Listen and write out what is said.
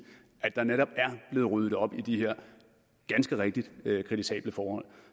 at der netop er blevet ryddet op i de her ganske rigtigt kritisable forhold